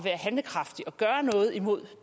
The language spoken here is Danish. handlekraftig og gøre noget imod